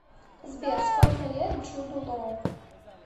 сбер сколько лет джуду лоу